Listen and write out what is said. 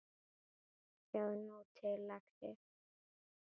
Sjáðu nú til, lagsi.